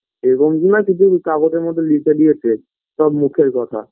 এরকম তো না যে শুধু কাগজের মধ্যে লিখে দিয়েছে সব মুখের কথা